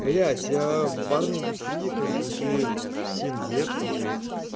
блять я в барной индустрии как бы уже семь лет и